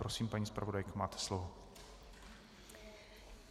Prosím, paní zpravodajko, máte slovo.